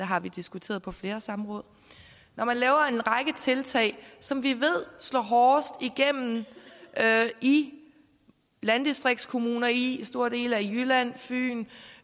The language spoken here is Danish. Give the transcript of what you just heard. har vi diskuteret på flere samråd og man laver en række tiltag som vi ved slår hårdest igennem i landdistriktskommunerne i store dele af jylland fyn